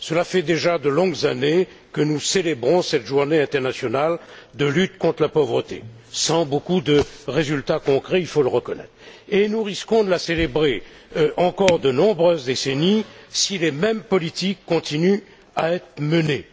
Madame la Présidente, cela fait déjà de longues années que nous célébrons cette Journée internationale de lutte contre la pauvreté, sans beaucoup de résultats concrets, il faut le reconnaître, et nous risquons de la célébrer encore de nombreuses décennies si les mêmes politiques continuent à être menées.